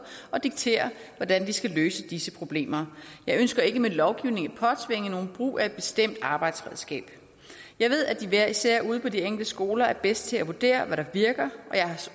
og diktere hvordan vi skal løse disse problemer jeg ønsker ikke med lovgivning at påtvinge nogen brug af et bestemt arbejdsredskab jeg ved at de hver især ude på de enkelte skoler er bedst til at vurdere hvad der virker